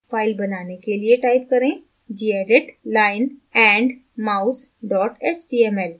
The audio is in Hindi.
file बनाने के लिए type करें gedit lionandmouse html